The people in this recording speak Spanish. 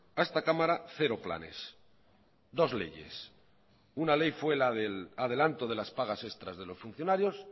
a esta cámara cero planes dos leyes una ley fue la del adelanto de las pagas extras de los funcionarios